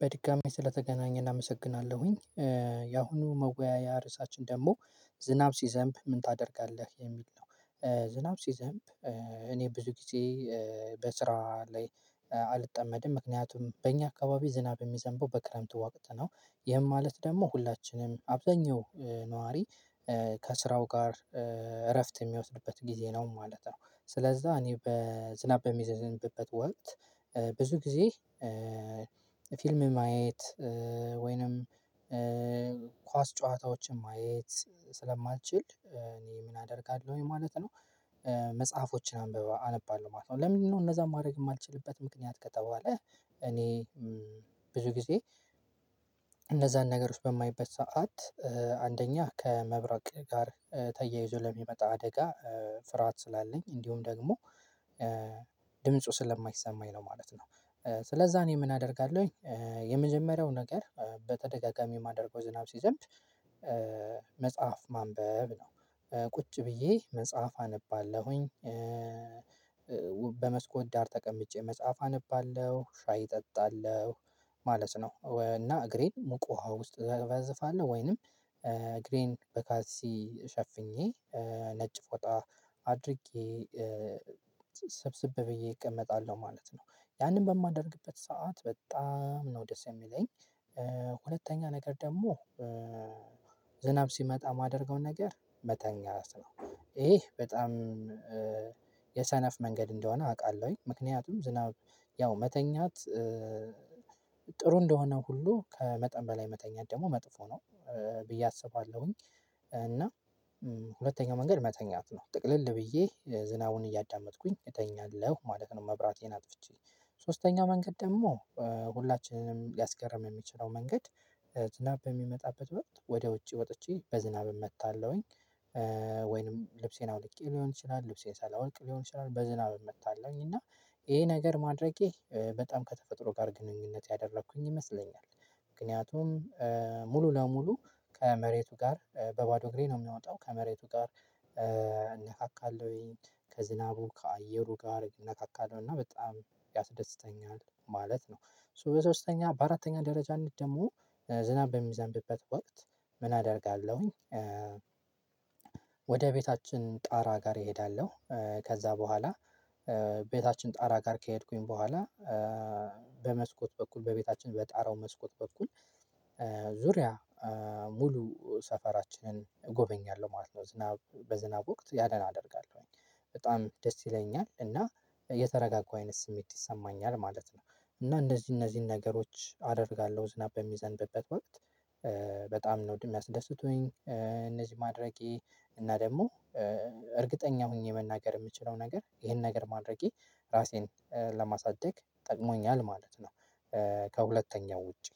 በድጋሜ ስለተገናኘን አመሰግናለሁኝ። ያአሁኑ መወያያ ርዕሳችን ደግሞ ዝናብ ሲዘንብ ምን ታደርጋለህ የሚል ነው? ዝናብ ሲዘንብ እኔ ብዙ ጊዜ በስራ ላይ አልጠመድም ምክንያቱም በእኛ አካባቢ ዝናብ የሚዘንበው በክረምቱ ወቅት ነው። ይህም ማለት ደግሞ ሁላችንም አብዛኛው ነዋሪ ከስራው ጋር እረፍት የሚወስድበት ጊዜ ነው ማለት ነው። ስለዛ እኔ በዝናብ በሚዘንብበት ወቅት ብዙ ጊዜ ፊልም ማየት ወይንም ኳስ ጨዋታዎችን ማየት ስለማልችል እኔ ምን አደርጋለሁኝ ማለት ነው። መጽሐፎችን አንብበ አነባለሁ ማለት ነው። ለምንድነው እነዛን ማድረግ የማልችልበት ምክንያት ከተባለ? እኔ ብዙ ጊዜ እነዛን ነገር ውስጥ በማይበት ሰዓት አንደኛ ከመብረቅ ጋር ተያይዞ ለሚመጣ አደጋ ፍርሃት ስላለኝ እንዲሁም ደግሞ ድምፁ ስለማይሰማኝ ነው ማለት ነው። ስለዛ እኔ ምን አደርጋለሁኝ የመጀመሪያው ነገር በተደጋጋሚ የማደርገው ዝናብ ሲዘንብ። መጽሐፍ ማንበብ ነው ቁጭ ብዬ መጽሐፍ አነባለሁኝ በመስኮት ዳር ተቀምጬ መጽሐፍ አነባለሁ ሻይ እጠጣለሁ ማለት ነው። እና እግሬን ሙቅ ውሃ ውስጥ እዘፈዘፋለሁ ወይንም እግሬን በካልሲ ሸፍኜ ነጭ ፎጣ አድርጌ ሰብስብ ብዬ እቀመጣለሁ ማለት ነው። ያንን በማደርግበት ሰዓት በጣም ነው ደስ የሚለኝ። ሁለተኛ ነገር ደግሞ ዝናብ ሲመጣ የማደርገውን ነገር መተኛት ነው። ይሄ በጣም የሰነፍ መንገድ እንደሆነ አውቃለሁኝ ምክንያቱም ዝናብ ያው መተኛት ጥሩ እንደሆነ ሁሉ ከመጠን በላይ መተኛት ደግሞ መጥፎ ነው ብዬ አስባለሁኝ። እና ሁለተኛው መንገድ መተኛት ነው ጥቅልል ብዬ ዝናቡን እያዳመጥኩኝ እተኛለሁ ማለት ነው። መብራቴን አጥፍቼ ሶስተኛው መንገድ ደግሞ ሁላችንም ሊያስገርም የሚችለው መንገድ ዝናብ በሚመጣበት ወቅት ወደ ውጪ ወጥቼ በዝናብ እመታለሁኝ። ወይንም ልብሴን አውልቄ ሊሆን ይችላል ልብሴን ሳላወልቅ ሊሆን ይችላል በዝናብ እመታለሁኝ እና ይሄ ነገር ማድረጌ በጣም ከተፈጥሮ ጋር ግንኙነት ያደረኩኝ ይመስለኛል። ምክንያቱም ሙሉ ለሙሉ ከመሬቱ ጋር በባዶ እግሬ ነው የምወጣው ከመሬቱ ጋር እነካካለሁኝ ከዝናቡ ከአየሩ ጋር እነካካለሁ እና በጣም ያስደስተኛል ማለት ነው። ሶ በሶስተኛ በአራተኛ ደረጃነት ደግሞ ዝናብ በሚዘንብበት ወቅት ምን አደርጋለሁኝ? ወደ ቤታችን ጣራ ጋር እሄዳለሁ ከዛ በኋላ ቤታችን ጣራ ጋር ከሄድኩኝ በኋላ በመስኮት በኩል በቤታችን በጣራው መስኮት በኩል ዙሪያ ሙሉ ሰፈራችንን እጎበኛለሁ ማለት ነው። ዝናብ በዝናብ ወቅት ያንን አደርጋለሁኝ በጣም ደስ ይለኛል እና የተረጋጋሁ አይነት ስሜት ይሰማኛል ማለት ነው። እና እነዚህ እነዚህን ነገሮች አደርጋለሁ ዝናብ በሚዘንብበት ወቅት በጣም ነው የሚያስደስቱኝ እነዚህ ማድረጌ እና ደግሞ እርግጠኛ ሆኜ መናገር የምችለው ነገር ይሄን ነገር ማድረጌ ራሴን ለማሳደግ ጠቅሞኛል ማለት ነው። ከሁለተኛው ውጪ